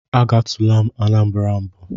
Agatula m Anambara mbụ.